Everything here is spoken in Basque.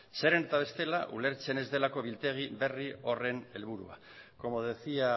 zeren eta bestela ulertzen ez delako biltegi berri horren helburua como decía